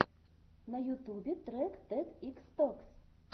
на ютубе трек тед икс токс